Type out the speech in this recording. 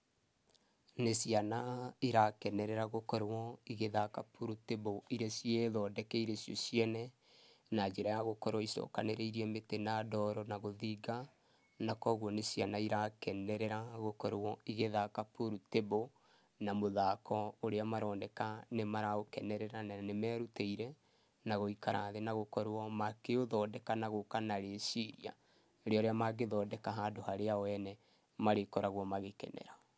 Nĩ ciana, irakenerera gũkorwo igĩthaka pool table ĩrĩa ciĩthondekeire cio ciene, na njĩra ya gũkorwo icokanĩrĩirie mĩtĩ na ndoro na gũthinga, na kũguo nĩ ciana irakenerera gũkorwo igĩthaka pool table, na mũthako ũrĩa maroneka nĩ maraũkenereira na nĩ merutĩire, na gũikara thĩ na gũkorwo makĩũthondeka na gũka na rĩciria, rĩa ũrĩa magĩthondeka handũ harĩa o ene, marĩkoragwo magĩkenerera.